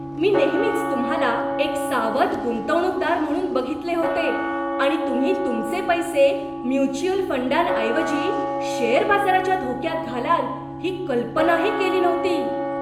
मी नेहमीच तुम्हाला एक सावध गुंतवणूकदार म्हणून बघितले होते आणि तुम्ही तुमचे पैसे म्युच्युअल फंडांऐवजी शेअर बाजाराच्या धोक्यात घालाल ही कल्पनाही केली नव्हती.